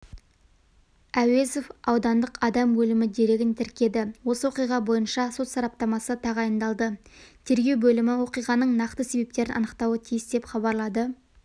әуезов аудандық адам өлімі дерегін тіркеді осы оқиға бойынша сот сараптамасы тағайындалды тергеу бөлімі оқиғаның нақты себептерін анықтауы тиіс деп хабарлады